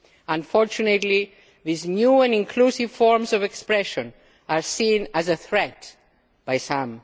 Unfortunately, these new and inclusive forms of expression are seen as a threat by